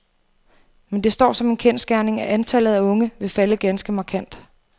Men det står som en kendsgerning, at antallet af unge vil falde ganske markant.